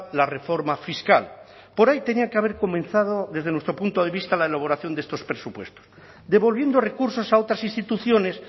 la reforma fiscal por ahí tenía que haber comenzado desde nuestro punto de vista la elaboración de estos presupuestos devolviendo recursos a otras instituciones